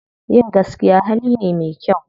Yin gaskiya hali ne me kyau.